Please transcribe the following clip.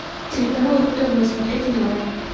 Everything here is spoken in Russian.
телеканал ру тв смотреть онлайн